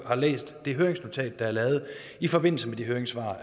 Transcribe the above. har læst det høringsnotat der er lavet i forbindelse med de høringssvar